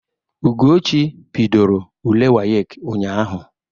Ugochi bidoro ule wayek ụnyaahụ.